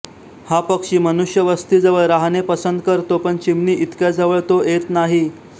हा पक्षी मनुष्य वस्तीजवळ राहणे पसंत करतो पण चिमणी इतक्या जवळ तो येत नाही